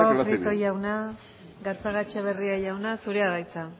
lo hace bien eskerrik asko prieto jauna gatzagaetxebarria jauna zurea da hitza